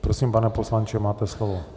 Prosím, pane poslanče, máte slovo.